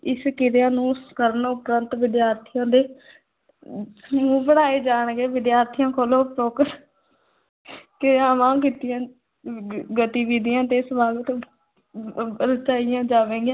ਇਸ ਕਿਰਿਆ ਨੂੰ ਕਰਨ ਉਪਰੰਤ ਵਿਦਿਆਰਥੀਆਂ ਦੇ ਸਮੂਹ ਬਣਾਏ ਜਾਣਗੇ, ਵਿਦਿਆਰਥੀਆਂ ਕੋਲੋਂ ਉਪਰੋਕਤ ਕਿਰਿਆਵਾਂ ਕੀਤੀਆਂ ਗਤੀਵਿਧੀਆਂ ਤੇ ਅਹ ਰਚਾਈਆਂ ਜਾਵੇਗੇ